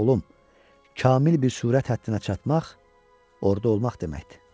Oğlum, kamil bir sürət həddinə çatmaq orda olmaq deməkdir.